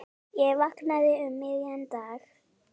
Ég vaknaði um miðjan dag.